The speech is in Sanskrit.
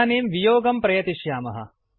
इदानीं वियोगं प्रयतिष्यामः